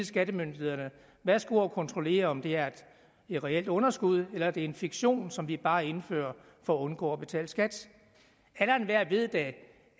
skattemyndighederne værsgo at kontrollere om det er et reelt underskud eller det er en fiktion som vi bare indfører for at undgå at betale skat alle og enhver ved da